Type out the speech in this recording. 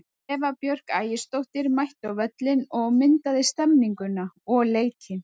Eva Björk Ægisdóttir mætti á völlinn og myndaði stemmninguna og leikinn.